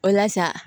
O la sa